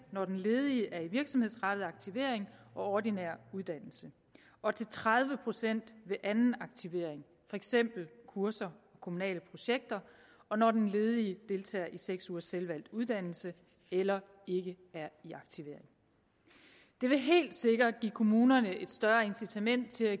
når den ledige er i virksomhedsrettet aktivering og ordinær uddannelse og til tredive procent ved anden aktivering for eksempel kurser og kommunale projekter og når den ledige deltager i seks ugers selvvalgt uddannelse eller ikke er i aktivering det vil helt sikkert give kommunerne et større incitament til at